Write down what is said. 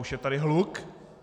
Už je tady hluk.